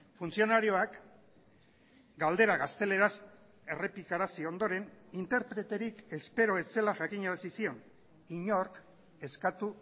funtzionarioak galdera gazteleraz errepikarazi ondoren interpreterik espero ez zela jakinarazi zion inork eskatu